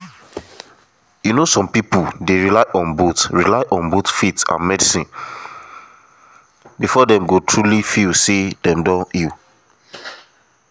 you know some people dey rely on both rely on both faith and medicine before dem go truly feel say dem don heal